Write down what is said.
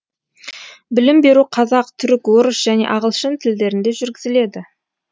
білім беру қазақ түрік орыс және ағылшын тілдерінде жүргізіледі